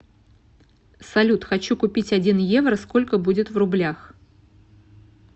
салют хочу купить один евро сколько будет в рублях